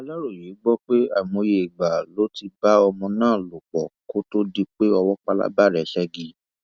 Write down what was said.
aláròye gbọ pé àìmọye ìgbà lo ti bá ọmọ náà lò pọ kó tóó di pé owó pálábá rẹ ségi